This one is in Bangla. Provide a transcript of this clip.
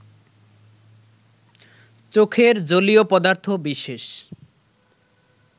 চোখের জলীয় পদার্থ বিশেষ